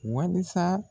Walisa